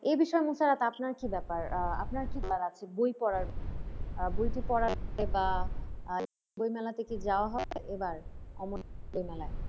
এই বিষয়ে মুশারত আপনার কি ব্যাপার? আহ আপনার কি বলার আছে? বই পড়ার, আহ বইটি পড়ার বা বই মেলাতে কি যাওয়া হবে অমর একুশের মেলায়।